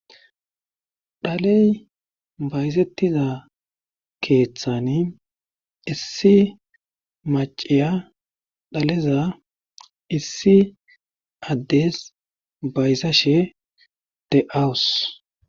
Dhaley bayzettiza keeththani issi maciya dhaleza issi addes bayza she de'awus.